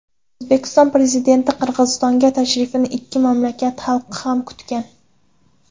O‘zbekiston Prezidentining Qirg‘izistonga tashrifini ikki mamlakat xalqi ham kutgan.